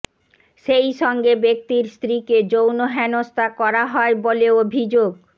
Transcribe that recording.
সেই সঙ্গে ব্যক্তির স্ত্রীকে যৌন হেনস্তা করা হয় বলে অভিযোগ